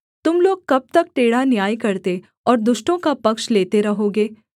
तुम लोग कब तक टेढ़ा न्याय करते और दुष्टों का पक्ष लेते रहोगे सेला